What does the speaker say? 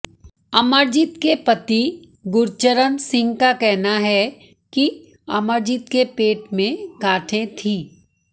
अमरजीत के पति गुरचरण सिंह का कहना है कि अमरजीत के पेट में गांठें थीं